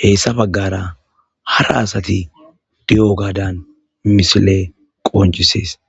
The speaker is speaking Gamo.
heyssa baggara hara asati di'o gaadan misile qonjisees.